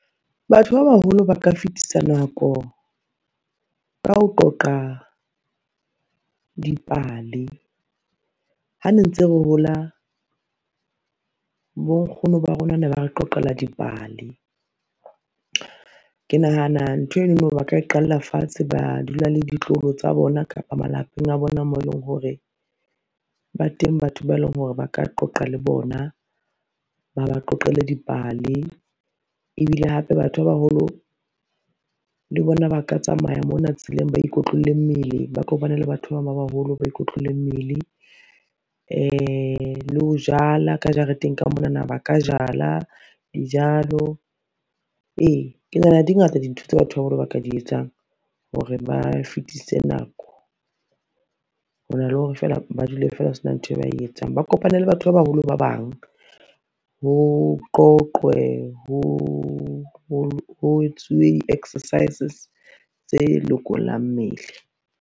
Batho ba baholo ba ka fetisa nako, ka ho qoqa dipale. Ha ne ntse re hola bonkgono ba rona ne ba re qoqela dipale. Ke nahana ntho enono ba ka e qalla fatshe, ba dula le ditloholo tsa bona kapa malapeng a bona moo eleng hore, ba teng batho ba eleng hore ba ka qoqa le bona, ba ba qoqele dipale. Ebile hape batho ba baholo le bona ba ka tsamaya mona tseleng ba ikotlolle mmele, ba le batho ba bang ba baholo, ba ikotlolle mmele, le ho jala ka jareteng ka monana ba ka jala dijalo. E ke nahana di ngata dintho tsa batho ba baholo ba ka di etsang hore ba fetise nako, hona le hore fela ba dule fela ho sena ntho e ba e etsang ba kopane le batho ba baholo ba bang, ho qoqwe, ho etsuwe di-exercises tse lokollang mmele.